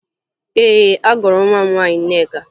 Ee, agụrụ m agụ nwa m nwaanyị Nneka